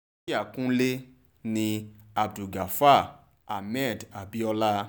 yà kúnĺe ní abdulgafar ahmed abiola